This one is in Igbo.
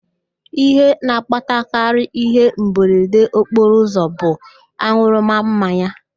Ihe na-akpatakarị ịhe mberede okporoụzọ bụ an̄ụrụma mmanya